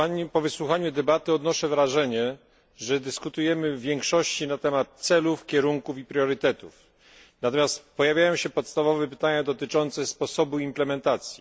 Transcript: Po wysłuchaniu debaty odnoszę wrażenie, że dyskutujemy w większości na temat celów, kierunków i priorytetów, natomiast pojawiają się podstawowe pytania dotyczące sposobu implementacji.